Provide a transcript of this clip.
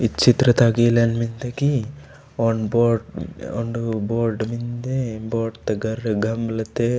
इ चित्र ता इलन मेन्दे की ओंडु बोर्ड ऑन बॉड मेन्दे बोर्ड तागा घमलाते।